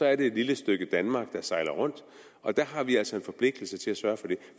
er det et lille stykke danmark der sejler rundt og der har vi altså en forpligtelse til at sørge for det